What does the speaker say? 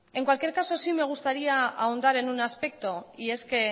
en cualquier caso sí me gustaría ahondar en un aspecto y es que